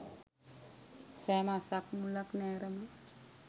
සෑම අස්සක් මුල්ලක් නෑර ම